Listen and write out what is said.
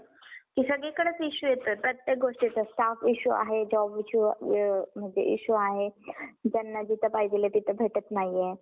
आणि एक demat account अजून एक आपल्याकडे काय करा भारतीय शेअर मार्केटमध्येइ लगेच आजच्या आज open करून घ्या आणि जुनं demant account तुम्हाला बंद करायचं असेल तर mail टाकून ते जुनं demant account तुम्ही बंदही करू शकता. demant open करण्यासाठी काय करायचंय तुम्हाला?